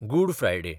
good Friday